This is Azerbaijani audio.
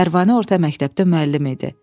Pərvanə orta məktəbdə müəllim idi.